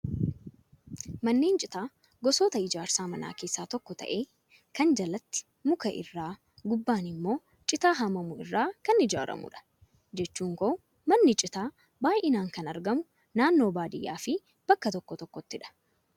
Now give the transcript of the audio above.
Manneen citaa gosoota ijaarsa manaa keessaa tokko ta'ee, kan jalatti muka irraa gubbaan immoo citaa haamamu irraa kan ijaaramudha. Jechuun koo manni citaa baay'inaan kan argamu naannoo baadiyyaa fi bakka tokko tokkottidha.